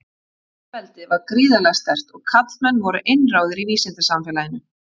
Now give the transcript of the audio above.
Feðraveldið var gríðarlega sterkt og karlmenn voru einráðir í vísindasamfélaginu.